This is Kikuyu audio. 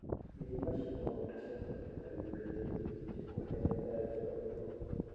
Ĩthima cia maguta cia Saudi Arabia nĩ ĩrĩkĩtie kũhĩa nĩ tharĩkĩro ĩyo.